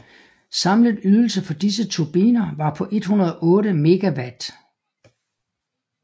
Samlet ydelse for disse turbiner var på 108 MW